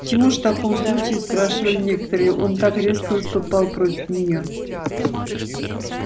почему же в таком случае спрашивали некоторые он так резко выступал против нее